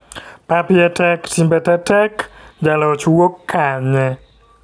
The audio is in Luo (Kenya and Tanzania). Pap iye tek timbe te tek, jaloch wuok kanye?